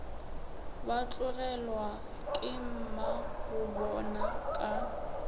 ba tlogelwa ke mmagobona ka